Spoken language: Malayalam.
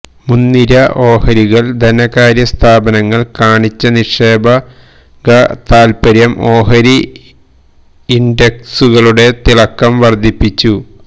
മുന്നിര ഓഹരികളില് ധനകാര്യസ്ഥാപനങ്ങള് കാണിച്ച നിക്ഷേപക താല്പര്യം ഓഹരി ഇന്ഡക്സുകളുടെ തിളക്കം വര്ധിപ്പിച്ചു